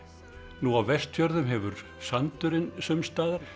nú á Vestfjörðum hefur sandurinn sums staðar